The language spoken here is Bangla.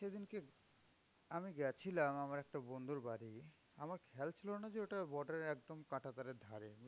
সেদিনকে আমি গেছিলাম আমার একটা বন্ধুর বাড়ি। আমার খেয়াল ছিল না যে, ওটা border এর একদম কাঁটাতারের ধারে।